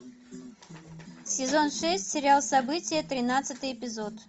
сезон шесть сериал событие тринадцатый эпизод